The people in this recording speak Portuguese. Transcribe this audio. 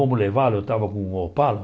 Vamos levá-los eu estava com o Opala.